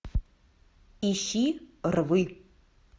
ищи рвы